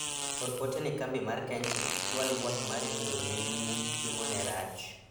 or ote ne kambi mar kenchik ichwal ywak mari ni gweno ne numu ,chiemo ne rach